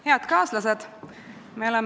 Head kaaslased!